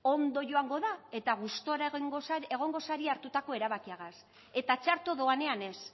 ondo joango da eta gustora egingo zarie hartutako erabakiagaz eta txarto doanean ez